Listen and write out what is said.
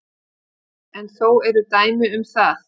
En þó eru dæmi um það.